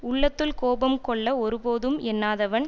உள்ளத்துள் கோபம் கொள்ள ஒருபோதும் எண்ணாதவன்